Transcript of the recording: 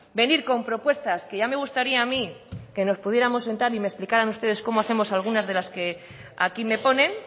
venir con propuestas que ya me gustaría a mí que nos pudiéramos sentar y me explicarán ustedes cómo hacemos algunas de las que aquí me ponen